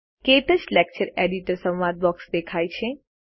ક્ટચ lecture editor સંવાદ box દેખાય છે